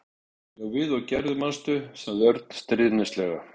Já, við og Gerður, manstu? sagði Örn stríðnislega.